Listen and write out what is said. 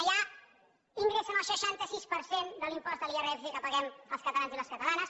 allà ingressen el seixanta sis per cent de l’impost de l’irpf que paguem els catalans i les catalanes